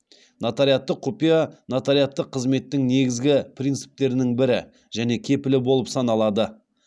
нотариаттық құпия нотариаттық қызметтің негізгі принциптерінің бірі және кепілі болып саналады